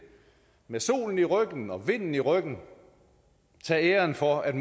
med solen i ryggen og vinden i ryggen tage æren for at